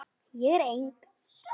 Ég er eng